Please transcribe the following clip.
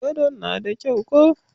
Gadon na da kyau ko?